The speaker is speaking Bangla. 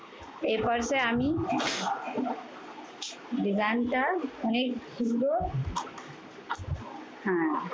এ purse এ আমি design টা অনেক সুন্দর হ্যাঁ।